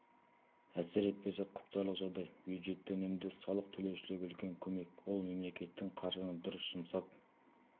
әсер етпесе құптарлық жағдай бюджетті үнемдеу салық төлеушілерге үлкен көмек ол мемлекеттің қаржыны дұрыс жұмсап